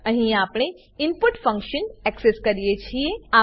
અહીં આપણે input function input function access કરીએ છીએ